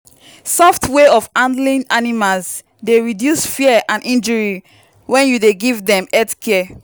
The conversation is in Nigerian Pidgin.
soft way of handling animals dey reduce fear and injury when you dey give them health care.